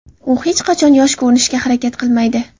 U hech qachon yosh ko‘rinishga harakat qilmaydi.